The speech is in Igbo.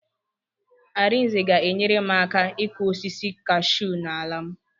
Arinze ga-enyere m aka ịkụ osisi kashuu n'ala m.